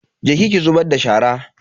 Je ki ki zubar da shara.